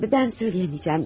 Mən söyləyə bilməyəcəm.